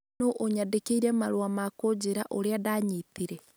No ũnyandĩkĩre marũa ma kũnjĩra ũrĩa ndanyitire.